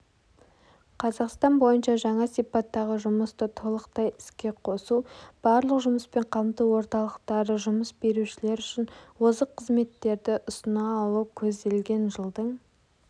қазақстан бойынша жаңа сипаттағы жұмысты толықтай іске қосу барлық жұмыспен қамту орталықтары жұмыс берушілер үшін озық қызметтерді ұсына алу көзделген жылдың